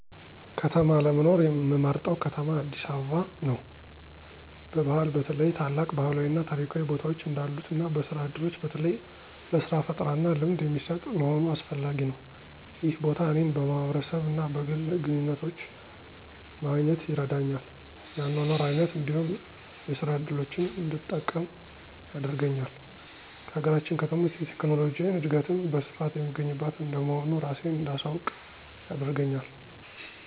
ከተማ ለመኖር ምመርጠው ከተማ አዲስ አበባ ነው። በባህል በተለይ ታላቅ ባህላዊ እና ታሪካዊ ቦታዎች እንዳሉት እና በስራ ዕድሎች በተለይ ለሥራ ፈጠራና ልምድ የሚሰጥ መሆኑ አስፈላጊ ነው። ይህ ቦታ እኔን በማህበረሰብ እና በግል ግንኙነቶች ማግኘት ይረዳኛል፤ የአኗኗር አይነት እንዲሁም የስራ እድሎችን እንድጠቀም ያደርገኛል። ከሀገራችን ከተሞች የቴክኖሎጂ እድገትም በስፋት የሚገኝባት እንደመሆኑ እራሴን እንዳሳውቅ ያደርገኛል።